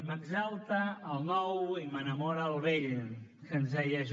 m’exalta el nou i m’enamora el vell que ens deia j